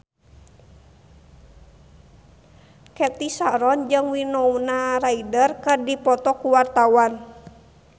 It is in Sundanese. Cathy Sharon jeung Winona Ryder keur dipoto ku wartawan